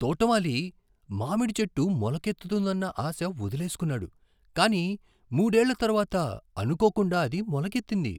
తోటమాలి మామిడి చెట్టు మొలకెత్తుతుందన్న ఆశ వదిలేసుకున్నాడు, కానీ మూడేళ్ళ తరువాత అనుకోకుండా అది మొలకెత్తింది.